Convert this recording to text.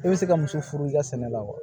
I bɛ se ka muso furu i ka sɛnɛ la wa